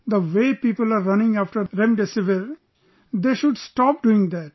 The way people are running after Remdesivir...they should stop doing that